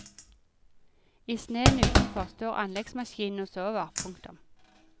I sneen utenfor står anleggsmaskinene og sover. punktum